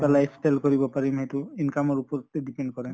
life style কৰিব পাৰিম সেইটো income ৰ ওপৰতে depend কৰে।